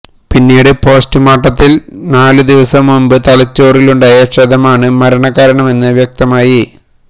പിന്നീട് പോസ്റ്റ്മോര്ട്ടത്തില് നാലു ദിവസം മുമ്പ് തലച്ചോറിലുണ്ടായ ക്ഷതമാണ് മരണകാരണമെന്ന് വ്യക്തമായി